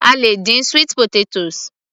A lè dín sweet potatoes